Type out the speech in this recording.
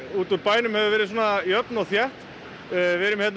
út úr bænum hefur verið jöfn og þétt hvernig